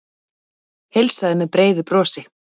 Heilsaði með breiðu brosi.